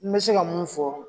N bɛ se ka mun fɔ.